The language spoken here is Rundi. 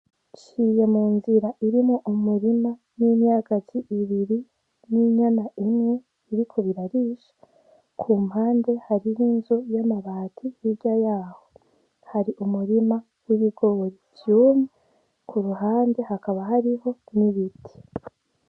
Nciye munzira irimwo umirima n'imyagazi ibiri n'inyana imwe biriko birarisha kumpande hariho inzu y'amabati hirya yaho hari umurima w'ibigori vyumye kuruhande hakaba hariho n'ibiti.